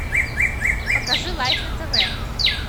покажи лайф на тв